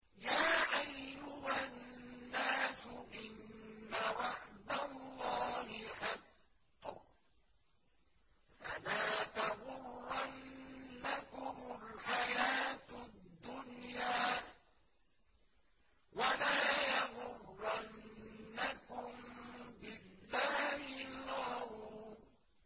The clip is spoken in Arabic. يَا أَيُّهَا النَّاسُ إِنَّ وَعْدَ اللَّهِ حَقٌّ ۖ فَلَا تَغُرَّنَّكُمُ الْحَيَاةُ الدُّنْيَا ۖ وَلَا يَغُرَّنَّكُم بِاللَّهِ الْغَرُورُ